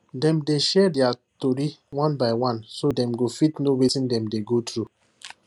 dem dey share dia tory one by one so that dem go fit know wetin dem dey go through